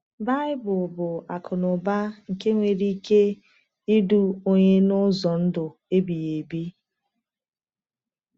Baịbụl bụ akụnụba nke nwere ike idu onye n’ụzọ ndụ ebighị ebi.